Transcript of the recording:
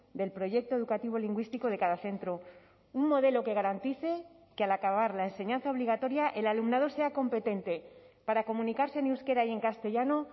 del proyecto educativo lingüístico de cada centro un modelo que garantice que al acabar la enseñanza obligatoria el alumnado sea competente para comunicarse en euskera y en castellano